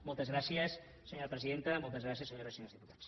moltes gràcies senyora presidenta moltes gràcies senyores i senyors diputats